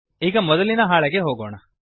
ಈಗ ಮೊದಲಿನ ಹಾಳೆಗೆ ಹೋಗೋಣ